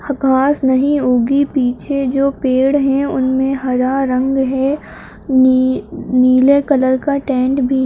ह घास नहीं उगी। पीछे जो पेड़ हैं उनमे हरा रंग है। नी-नीले कलर का टेंट भी --